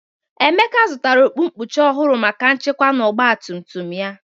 Emeka zụtara okpu nkpuchi ọhụrụ maka nchekwa na ọgba tum tum ya.